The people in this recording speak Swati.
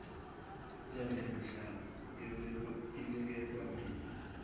lengenhla yaniketwa mine